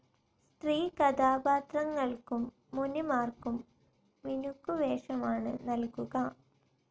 സ്ത്രീ കഥാപാത്രങ്ങൾക്കും മുനിമാർക്കും മിനുക്കുവേഷമാണ് നൽകുക.